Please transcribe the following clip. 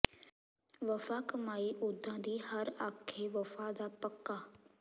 ਵਫਾ ਕਮਾਈ ਓਦਾਂ ਦੀ ਹਰ ਆਖੇ ਵਫਾ ਦਾ ਪੱਕਾ